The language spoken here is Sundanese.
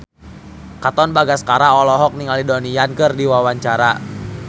Katon Bagaskara olohok ningali Donnie Yan keur diwawancara